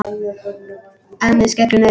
Ennið skellur niður.